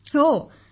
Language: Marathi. विशाखा जीः हो